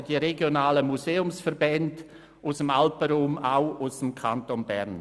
Zu Wort gemeldet haben sich auch die regionalen Museumsverbände aus dem Alpenraum, auch aus dem Kanton Bern.